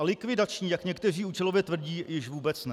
A likvidační, jak někteří účelově tvrdí, již vůbec ne.